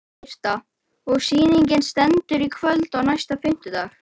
Birta: Og sýningin stendur í kvöld og næsta fimmtudag?